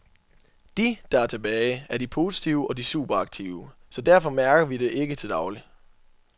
De, der er tilbage, er de positive og de superaktive, så derfor mærker vi det ikke til daglig.